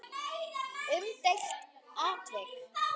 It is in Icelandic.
Umdeilt atvik?